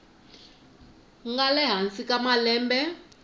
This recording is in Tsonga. nga le hansi ka malembe